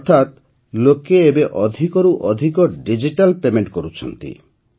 ଅର୍ଥାତ୍ ଲୋକେ ଏବେ ଅଧିକରୁ ଅଧିକ ଡିଜିଟାଲ୍ ପେମେଣ୍ଟ କରୁଛନ୍ତି